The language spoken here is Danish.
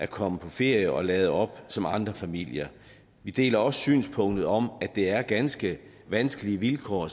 komme på ferie og lade op som andre familier vi deler også synspunktet om at det er ganske vanskelige vilkår